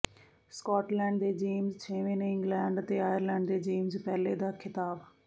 Scotland ਦੇ James ਛੇਵੇਂ ਨੇ ਇੰਗਲੈਂਡ ਅਤੇ ਆਇਰਲੈਂਡ ਦੇ ਜੇਮਜ਼ ਪਹਿਲੇ ਦਾ ਖਿਤਾਬ